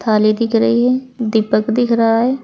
थाली दिख रही है दीपक दिख रहा है।